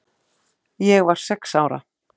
Ég var sex ára.